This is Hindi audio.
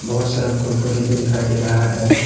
बहुत सारा कुरकुरे भी दिखाई दे रहा है।